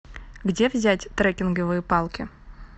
где взять трекинговые палки